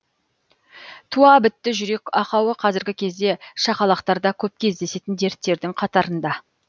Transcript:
туа бітті жүрек ақауы қазіргі кезде шақалақтарда көп кездесетін дерттердің қатарында